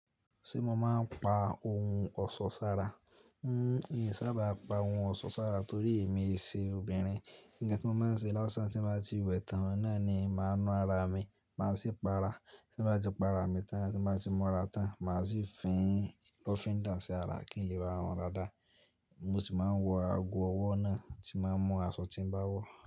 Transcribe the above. Ṣé mo máa ń pa ohun ọ̀ṣọ́ sára? N sábà pa ohun ọ̀ṣọ́ sára torí èmi sì obìnrin. Ǹkan tí mo máa ń ṣe lásán tí bá ti wẹ̀ tán ni ní máa ná ara mi, máa sì pa ara. Tí bá ti pa ara mi tán, tí bá ti múra tán, màá sì fín lọ̀fìn dà sí ara kí n lè bá ọ̀run dáadáa. Mo sì máa ń wọ ago ọwọ́ náà, tí máa ń mú aṣọ tí bá wọ̀.